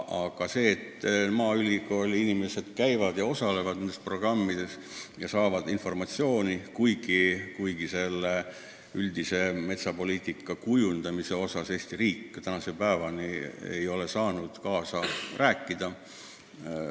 Jah, maaülikooli inimesed osalevad nendes programmides ja saavad informatsiooni, ent üldise metsapoliitika kujundamisel ei ole Eesti riik tänase päevani saanud kaasa rääkida.